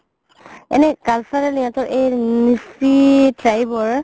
এনে cultural সিহতৰ Mising tribe ৰ